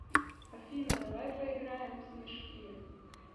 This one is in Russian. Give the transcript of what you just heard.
афина давай поиграем в снежки